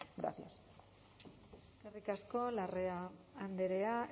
gracias eskerrik asko larrea andrea